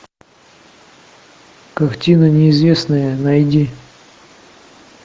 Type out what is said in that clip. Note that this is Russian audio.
картина неизвестная найди